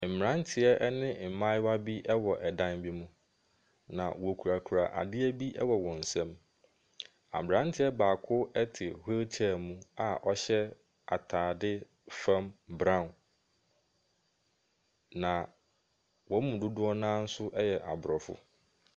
Mmeranteɛ ne mmayewa binom wɔ ɛdan bi mu, na wckurakura adeɛ bi wɔ wɔn nsam. Abearnteɛ baako te wheelchair mu a ɔhyɛ atadeɛ fam brown, na wɔn mu dodoɔ no ara nso yɛ Aborɔfo.